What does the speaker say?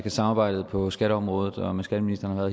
at samarbejdet på skatteområdet og med skatteministeren har